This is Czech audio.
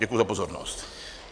Děkuji za pozornost.